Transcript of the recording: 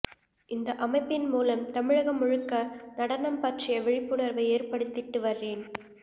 இந்த அமைப்பின் மூலம் தமிழகம் முழுக்க நடனம் பற்றிய விழிப்புணர்வை ஏற்படுத்திட்டு வர்றேன்